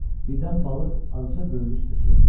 Birdən balıq azca böyrü üstə çöndü.